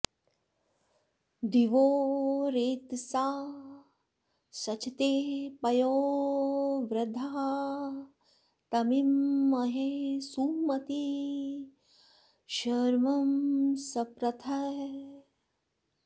दि॒वो रेत॑सा सचते पयो॒वृधा॒ तमी॑महे सुम॒ती शर्म॑ स॒प्रथः॑